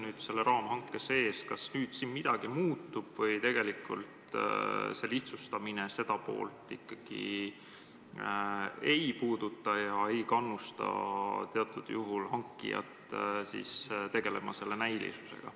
Kas selle raamhanke sees nüüd midagi muutub või tegelikult lihtsustamine seda poolt ei puuduta ega kannusta hankijat teatud juhul selle näilisusega tegelema?